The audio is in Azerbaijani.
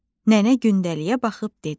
Nənə gündəliyə baxıb dedi: